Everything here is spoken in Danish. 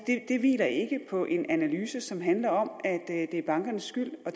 hviler ikke på en analyse som handler om at det er bankernes skyld og